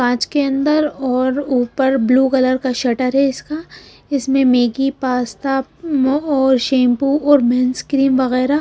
पांच के अंदर और ऊपर ब्लू कलर का शटर है इसका इसमें मेगी पास्ता शैंपू और बिन्स क्रीम वगैरह।